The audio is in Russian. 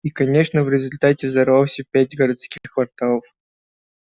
и конечно в результате взорвался пять городских кварталов